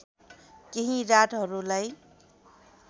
केही रातहरूलाई